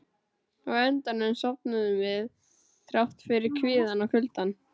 Á endanum sofnuðum við, þrátt fyrir kvíðann og kuldann.